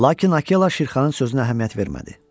Lakin Akela Şirxanın sözünə əhəmiyyət vermədi.